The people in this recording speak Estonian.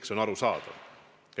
See on arusaadav.